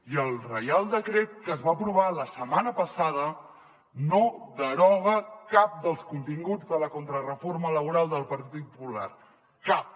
i el reial decret que es va aprovar la setmana passada no deroga cap dels continguts de la contrareforma laboral del partit popular cap